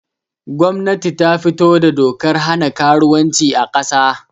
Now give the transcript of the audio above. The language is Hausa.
Gwamnati ta fito da dokar hana karuwanci a kasa